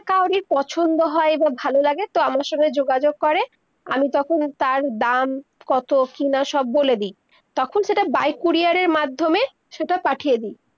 কাওরে পছন্দ হয়, বা ভালো লাগে তো আমার সঙ্গে যোগাযোগ করে, আমি তখন তার দাম কত, কি না সব বলে দি, তখন সেটা by courier মাধ্যমে, সেইটা পাঠিয়ে দি